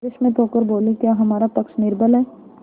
विस्मित होकर बोलीक्या हमारा पक्ष निर्बल है